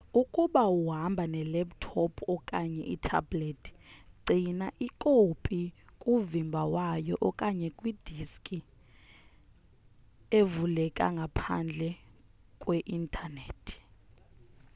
ukuba uhamba ne laptop okanye ithabhlethi gcina ikopi kuvimba wayo okanye kwi diski evuleka ngaphandle kwe intanethi